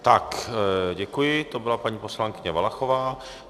Tak, děkuji, to byla paní poslankyně Valachová.